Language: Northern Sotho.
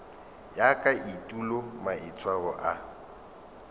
ya ka etulo maitshwaro a